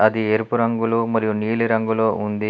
అది ఎరుపు రంగులో మరియు నీలిరంగులో ఉంది.